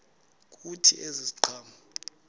kuthi ezi ziqhamo